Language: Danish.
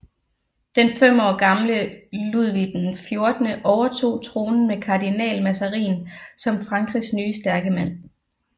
Den fem år gamle Ludvig XIV overtog tronen med kardinal Mazarin som Frankrigs nye stærke mand